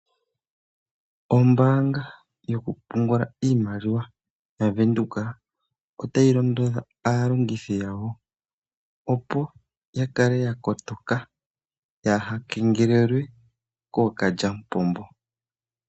Ombaanga yokupungula iimaliwa yaVenduka otayi londodha aalongithi yawo, opo ya kale ya kotoka yaa ha kengelelwe kookalyamupombo.